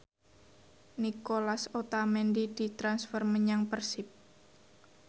Nicolas Otamendi ditransfer menyang Persib